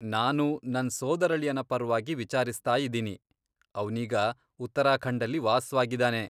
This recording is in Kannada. ನಾನು ನನ್ ಸೋದರಳಿಯನ ಪರ್ವಾಗಿ ವಿಚಾರಿಸ್ತಾಯಿದಿನಿ, ಅವ್ನೀಗ ಉತ್ತರಾಖಂಡಲ್ಲಿ ವಾಸ್ವಾಗಿದಾನೆ.